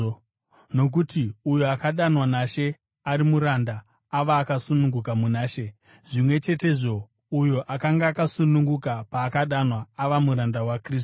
Nokuti uyo akadanwa naShe ari muranda, ava akasununguka muna She; zvimwe chetezvo, uyo akanga akasununguka paakadanwa ava muranda waKristu.